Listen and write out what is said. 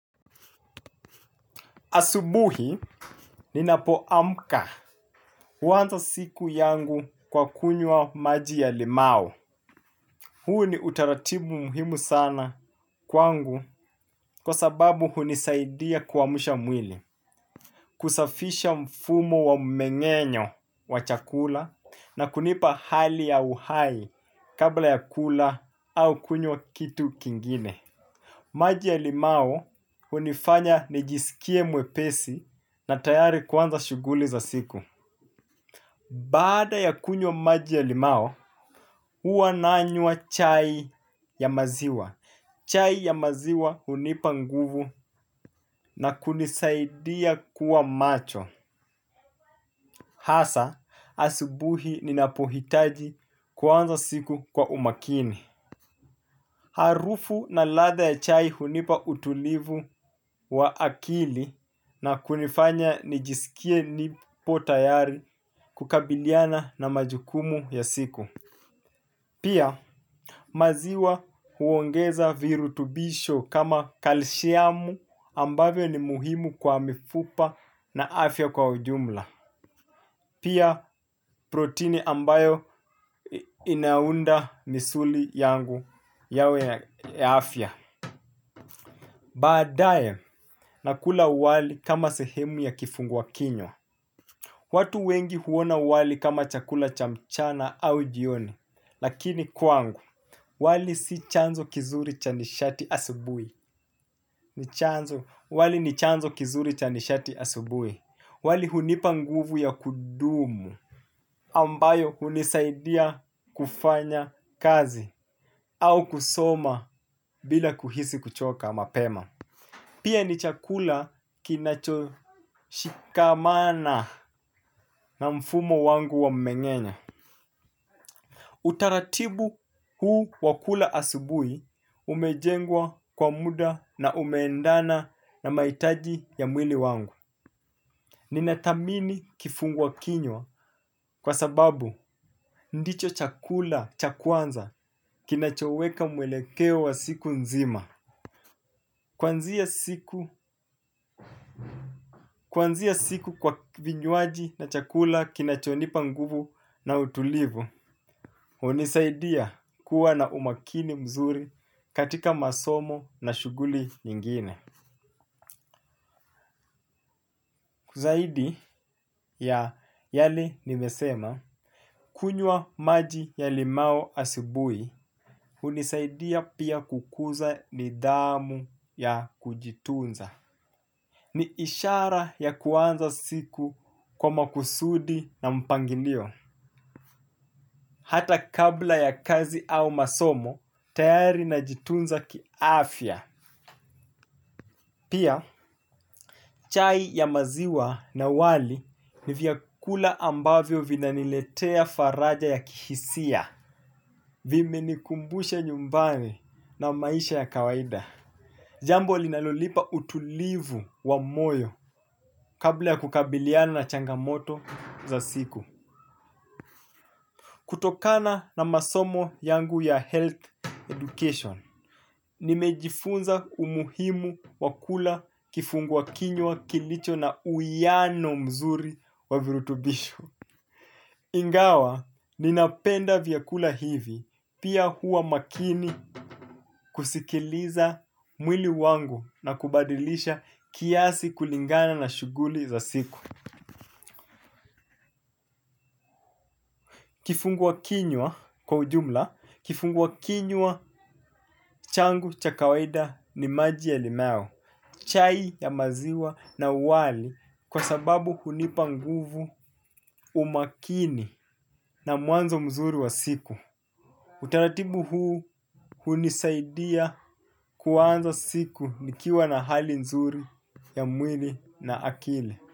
Asubuhi, ninapoamka huanza siku yangu kwa kunywa maji ya limau. Huu ni utaratibu muhimu sana kwangu kwa sababu hunisaidia kuamsha mwili. Kusafisha mfumo wa mmeng'enyo wa chakula na kunipa hali ya uhai kabla ya kula au kunywa kitu kingine. Maji ya limau hunifanya nijisikie mwepesi na tayari kuanza shughuli za siku. Baada ya kunywa maji ya lima huwa nanywa chai ya maziwa. Chai ya maziwa hunipa nguvu na kunisaidia kuwa macho. Hasa asubuhi ninapohitaji kuanza siku kwa umakini. Harufu na ladha ya chai hunipa utulivu wa akili na kunifanya nijisikie nipo tayari kukabiliana na majukumu ya siku. Pia maziwa huongeza virutubisho kama kalsiamu ambavyo ni muhimu kwa mifupa na afya kwa ujumla. Pia protini ambayo inaunda misuli yangu yawe ya afya. Baadae, nakula wali kama sehemu ya kifungua kinywa. Watu wengi huona wali kama chakula cha mchana au jioni. Lakini kwangu, wali si chanzo kizuri cha nishati asubuhi. Ni chanzo, wali ni chanzo kizuri cha nishati asubuhi. Wali hunipa nguvu ya kudumu ambayo hunisaidia kufanya kazi au kusoma bila kuhisi kuchoka mapema. Pia ni chakula kinachoshikamana na mfumo wangu wa mmengenya. Utaratibu huu wakula asubui umejengwa kwa muda na umeendana na maitaji ya mwili wangu. Ninathamini kifungua kinywa kwa sababu ndicho chakula cha kwanza kinachoweka mwelekeo wa siku nzima. Kuanzia siku kwa vinywaji na chakula kinachonipa nguvu na utulivu hunisaidia kuwa na umakini mzuri katika masomo na shughuli nyingine. Kwa zaidi ya yale nimesema, kunywa maji ya limau asubuhi, hunisaidia pia kukuza nidhamu ya kujitunza. Ni ishara ya kuanza siku kwa makusudi na mpangilio. Hata kabla ya kazi au masomo, tayari najitunza kiafya. Pia chai ya maziwa na wali ni vyakula ambavyo vinanilietea faraja ya kihisia. Vimenikumbusha nyumbani na maisha ya kawaida. Jambo linalolipa utulivu wa moyo kabla ya kukabiliana na changamoto za siku. Kutokana na masomo yangu ya health education, nimejifunza umuhimu wa kula kifungua kinywa kilicho na uwiano mzuri wa virutubisho. Ingawa, ninapenda vyakula hivi, pia huwa makini kusikiliza mwili wangu na kubadilisha kiasi kulingana na shughuli za siku. Kifungua kinyua kwa ujumla, kifungua kinyua changu cha kawaida ni maji ya limau. Chai ya maziwa na wali kwa sababu hunipa nguvu umakini na mwanzo mzuri wa siku. Utaratibu huu hunisaidia kuanza siku nikiwa na hali mzuri ya mwili na akili.